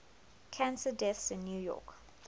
cancer deaths in new york